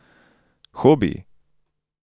Hobiji?